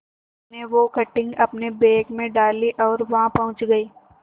मीनू ने वो कटिंग अपने बैग में डाली और वहां पहुंच गए